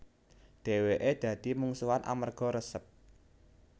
Dheweke dadi mungsuhan amerga resep